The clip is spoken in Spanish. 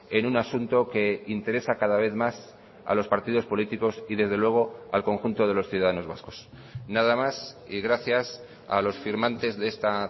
en un asunto que interesa cada vez más a los partidos políticos y desde luego al conjunto de los ciudadanos vascos nada más y gracias a los firmantes de esta